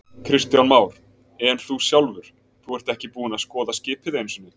Kristján Már: En þú sjálfur, þú ert ekki búinn að skoða skipið einu sinni?